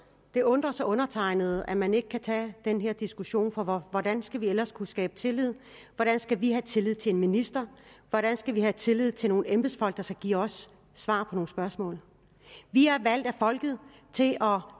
det undrer så undertegnede at man ikke kan tage den her diskussion for hvordan skal vi ellers kunne skabe tillid hvordan skal vi have tillid til en minister hvordan skal vi have tillid til nogle embedsfolk der skal give os svar på nogle spørgsmål vi er valgt af folket til at